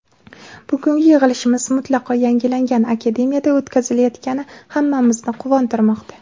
Bugungi yig‘ilishimiz mutlaqo yangilangan Akademiyada o‘tkazilayotgani hammamizni quvontirmoqda.